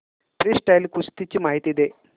freestyle कुस्ती ची माहिती दे